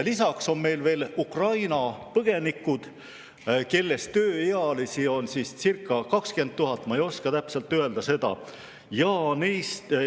Lisaks on meil veel Ukraina põgenikud, kellest tööealisi on circa 20 000, ma täpselt ei oska öelda.